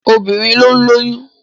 Obìnrin ló ń lóyún.